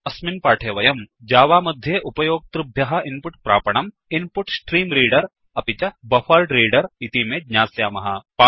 अस्मिन् पाठे वयम् जावा मध्ये उपयोक्तृभ्यः इन्पुट् प्रापणम् इन्पुट्स्ट्रीम्रेडर इन्पुट् स्ट्रीम् रीडर् अपि च बफरेड्रेडर बफर्ड् रीडर् इतीमे ज्ञास्यामः